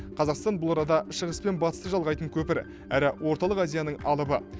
қазақстан бұл арада шығыс пен батысты жалғайтын көпір әрі орталық азияның алыбы